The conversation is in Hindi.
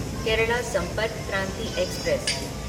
केराला संपर्क क्रांति एक्सप्रेस